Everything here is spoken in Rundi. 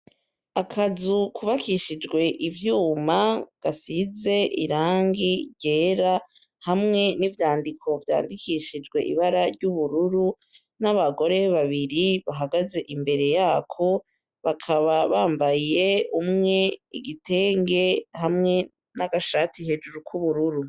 Akazukubakishijwe ivyuma gasize irangi ryera hamwe n'ivyandiko vyandikishijwe ibara ry'ubururu n'abagore babiri bahagaze imbere yako bakaba bambaye umwe igitenge hamwe n'agashati hejuru ko ubururu.